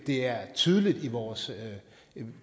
det er tydeligt i vores